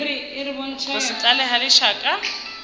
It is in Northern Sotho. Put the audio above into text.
go se tlale ga lešaka